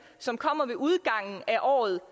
som kommer ved udgangen af året